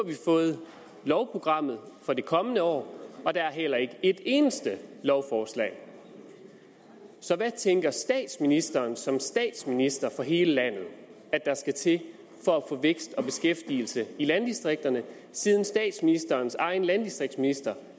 vi fået lovprogrammet for det kommende år og der er heller ikke et eneste lovforslag så hvad tænker statsministeren som statsminister for hele landet der skal til for at få vækst og beskæftigelse i landdistrikterne siden statsministerens egen landdistriktsminister